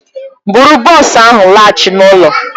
Bụrụ bọs ahụ laghachi n'ụlọ!